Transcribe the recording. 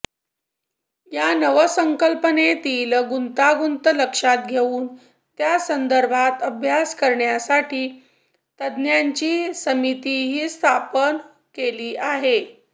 या नवसंकल्पनेतील गुंतागुंत लक्षात घेऊन त्या संदर्भात अभ्यास करण्यासाठी तज्ज्ञांची समितीही स्थापन केली आहे